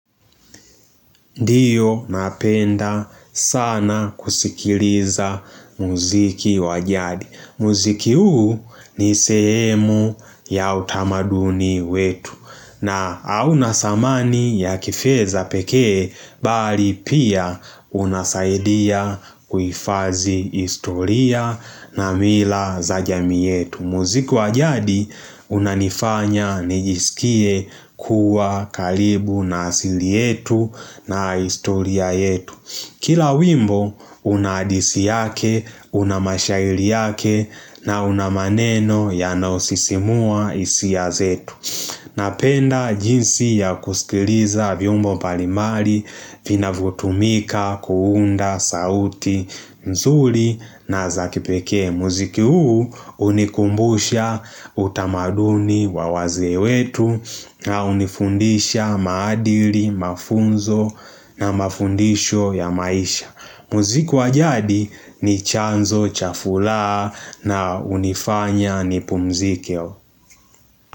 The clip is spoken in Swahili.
Ndiyo napenda sana kusikiliza muziki wa jadi. Muziki huu ni sehemu ya utamaduni wetu. Na au nasamani ya kifeza pekee, bali pia unasaidia kuifazi historia na mila za jamii yetu. Muziki wa jadi unanifanya nijisikie kuwa karibu na asili yetu na historia yetu Kila wimbo una disi yake una mashairi yake na una maneno yanaosisimua hisia zetu Napenda jinsi ya kusikiliza viumbo palimari Vinavyotumika kuunda sauti mzuri na za kipeke muziki huu unikumbusha utamaduni wa wazee wetu na unifundisha maadili, mafunzo na mafundisho ya maisha. Muziki wa jadi ni chanzo cha furaha na hunifanya nipumzike.